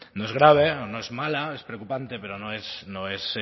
grave no es mala es preocupante pero